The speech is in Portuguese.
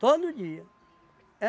Todo dia.